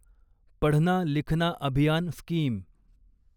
पढना लिखना अभियान स्कीम